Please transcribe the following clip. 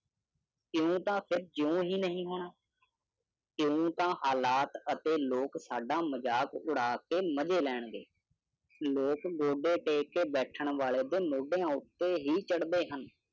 ਇਓਂ ਤਾਂ ਜਿਓਂਂ ਹੀ ਨਹੀ ਹੋਣਾ। ਇਓਂ ਤਾਂ ਹਾਲਾਤ ਅਤੇ ਲੋਕ ਸਾਡਾ ਮਜਾਕ ਉਡਾ ਕੇ ਮਜੇ ਲੈਣਗੇ । ਲੋਕ ਗੋਡੇ ਟੇਕ ਕੇ ਬੈਠਣ ਵਾਲੇ ਦੇ ਮੋਡਿਆਂ ਉੱਤੇ ਹੀ ਚੜਦੇ ਹਨ ।